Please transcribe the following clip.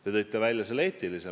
Teie tõite välja eetilise poole.